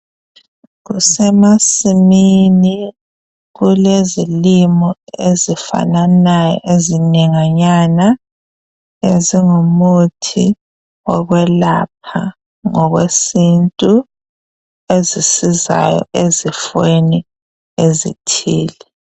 Kusemasimini kulezilimo ezifananayo ezinenganyana ezingumuthi okwelapha ngokwesintu ezisizayo ezifweni ezithile.